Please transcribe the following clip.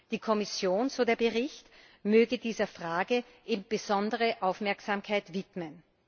Die Kommission, so der Bericht, möge dieser Frage besondere Aufmerksamkeit widmen.